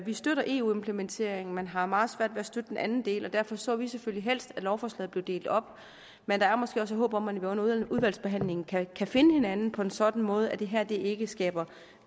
vi støtter eu implementeringen men har meget svært ved at støtte den anden del og derfor så vi selvfølgelig helst at lovforslaget blev delt op men der er måske også håb om at vi under udvalgsbehandlingen kan finde hinanden på en sådan måde at det her ikke skaber